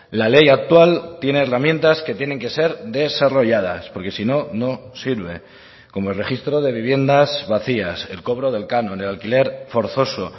la ley actual tiene herramientas que tienen que ser desarrolladas porque si no no sirve como el registro de viviendas vacías el cobro del canon el alquiler forzoso